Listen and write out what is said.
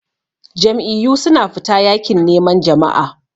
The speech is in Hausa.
Jam'iyyu suna fita yakin neman jama'a.